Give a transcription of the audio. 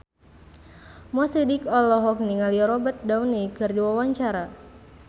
Mo Sidik olohok ningali Robert Downey keur diwawancara